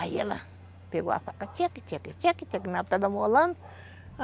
Aí ela pegou a faca, tcheque, tcheque, tcheque, na pedra amolando.